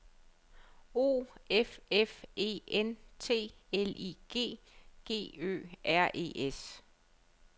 O F F E N T L I G G Ø R E S